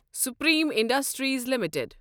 Supreme industries limited